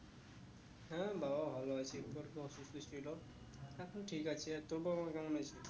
হ্যাঁ বাবা ভালো আছে অসুস্থ ছিল এখন ঠিক আছে আর তোর বাবা মা কেমন আছে?